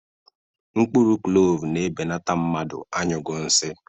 Mkpụrụ klovu na-ebenata mmadụ anyughi nsị